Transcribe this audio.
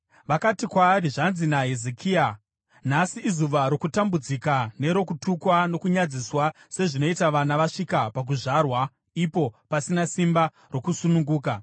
Vakati kwaari, “Zvanzi naHezekia: Nhasi izuva rokutambudzika, nerokutukwa, nokunyadziswa, sezvinoita vana vasvika pakuzvarwa ipo pasina simba rokusununguka.